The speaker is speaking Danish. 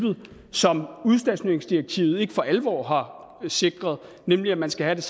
som udstationeringsdirektivet ikke for alvor har sikret nemlig at man skal have